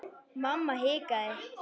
Mamma hikaði.